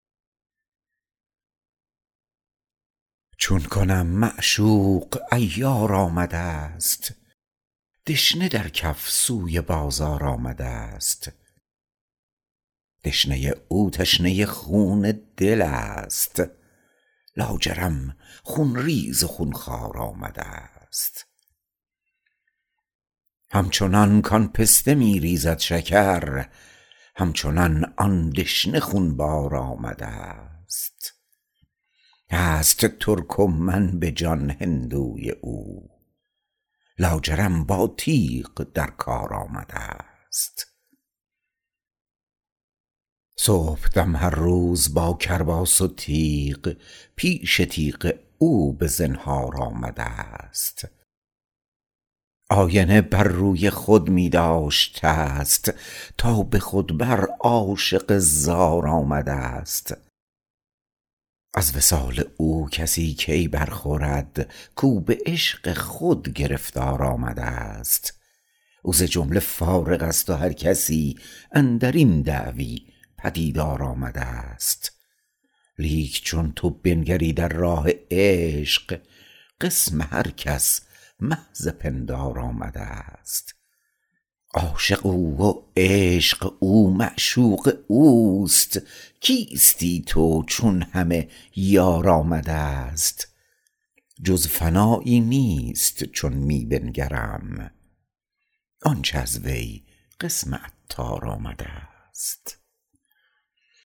چون کنم معشوق عیار آمدست دشنه در کف سوی بازار آمدست دشنه او تشنه خون دل است لاجرم خونریز و خونخوار آمدست همچنان کان پسته می ریزد شکر همچنان آن دشنه خونبار آمدست هست ترک و من به جان هندوی او لاجرم با تیغ در کار آمدست صبحدم هر روز با کرباس و تیغ پیش تیغ او به زنهار آمدست آینه بر روی خود می داشتست تا به خود بر عاشق زار آمدست از وصال او کسی کی برخورد کو به عشق خود گرفتار آمدست او ز جمله فارغ است و هر کسی اندرین دعوی پدیدار آمدست لیک چون تو بنگری در راه عشق قسم هر کس محض پندار آمدست عاشق او و عشق او معشوقه اوست کیستی تو چون همه یار آمدست جز فنایی نیست چون می بنگرم آنچه از وی قسم عطار آمدست